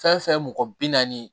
Fɛn fɛn ye mɔgɔ bi naani ye